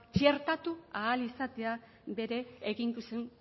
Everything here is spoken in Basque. txertatu ahal izatea bere eginkizun